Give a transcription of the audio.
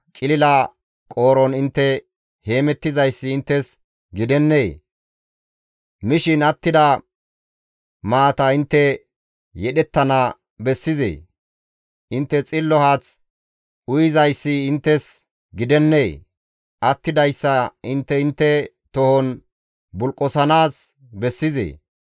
Cilila qooron intte heemettizayssi inttes gidennee? Mishin attida maata intte yedhettana bessizee? Intte xillo haath uyizayssi inttes gidennee? Attidayssa intte intte tohon bulqosanaas bessizee?